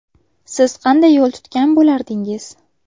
Siz qanday yo‘l tutgan bo‘lardingiz?